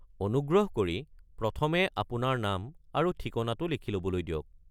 অনুগ্ৰহ কৰি প্ৰথমে আপোনাৰ নাম আৰু ঠিকনাটো লিখি ল'বলৈ দিয়ক।